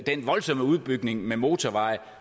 den voldsomme udbygning med motorveje